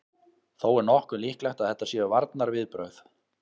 Þó er nokkuð líklegt að þetta séu varnarviðbrögð.